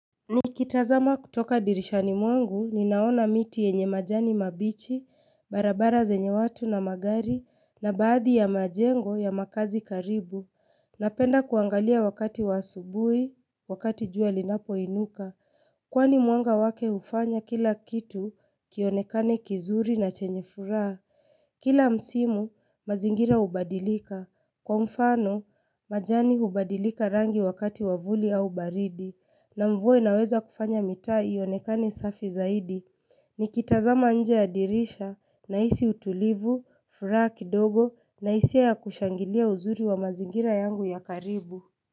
Nikitazama kutoka dirishani mwangu, ninaona miti yenye majani mabichi, barabara zenye watu na magari, na baadhi ya majengo ya makazi karibu. Napenda kuangalia wakati wa asubui, wakati jua linapoinuka. Kwani mwanga wake hufanya kila kitu kionekane kizuri na chenye furaa. Kila msimu, mazingira hubadilika. Kwa mfano, majani hubadilika rangi wakati wa vuli au baridi. Na mvua inaweza kufanya mitaa ionekane safi zaidi Nikitazama nje ya dirisha naisi utulivu, furaa kidogo na hisia ya kushangilia uzuri wa mazingira yangu ya karibu.